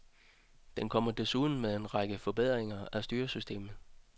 Den kommer desuden med en række forbedringer af styresystemet.